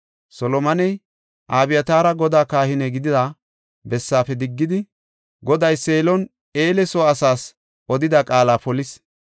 Solomoney, Abyataari Godaa kahine gidida bessaafe diggidi, Goday Seelon Eele soo asaas odida qaala polis.